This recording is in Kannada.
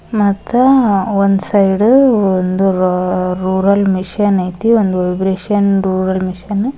ಮತ್ತೆ ಒಂದು ಸೈಡು ಒಂದು ರೂರಲ್ ಮಿಷನ್ ಐತಿ ಇಂದು ವೈಬ್ರೇಶನ್ ರೂರಲ್ ಮಷೀನ್ --